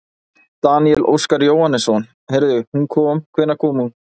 Daníel Óskar Jóhannesson: Heyrðu hún kom, hvenær kom hún?